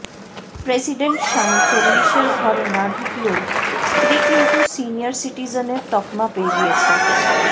president স্বামী চল্লিশের ঘরে না ঢুকলেও স্ত্রী কিন্তু সিনিয়র সিটিজেনের তকমা পেয়ে গিয়েছেন